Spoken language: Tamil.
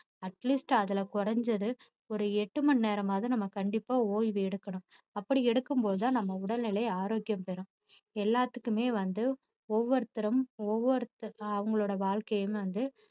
atleast அதுல குறைஞ்சது ஒரு எட்டு மணி நேரமாவது நம்ம கண்டிப்பா ஓய்வு எடுக்கணும் அப்படி எடுக்கும் போதுதான் நம்ம உடல்நிலை ஆரோக்கியம் பெறும் எல்லாத்துக்குமே வந்து ஒவ்வொருத்தரும் ஒவ்வொருத்~ அவங்களுடைய வாழ்க்கையும் வந்து